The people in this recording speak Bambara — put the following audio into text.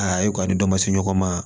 A ye kɔni dɔ ma se ɲɔgɔn ma